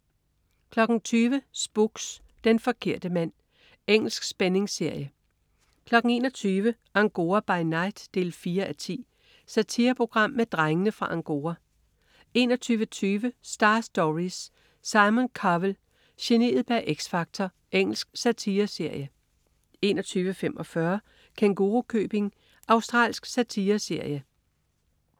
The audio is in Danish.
20.00 Spooks: Den forkerte mand. Engelsk spændingsserie 21.00 Angora by night 4:10. Satireprogram med "Drengene fra Angora" 21.20 Star Stories: Simon Cowell, geniet bag X Factor. Engelsk satireserie 21.45 Kængurukøbing. Australsk satireserie